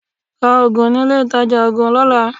Ra oògùn ní ilé ìtajà oògùn lọ́la.